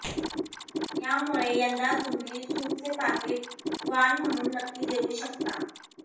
त्यामुळे यंदा तुम्ही सूपचे पाकिट वाण म्हणून नक्की देऊ शकता